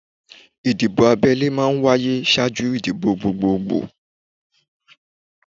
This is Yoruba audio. Ìdìbò abẹ́lé máa ń wáyé ṣáájú ìdìbò gbogbogbò